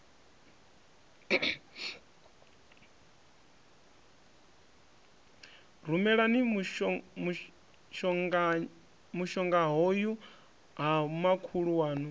rumelani mushongahoyu ha makhulu waṋu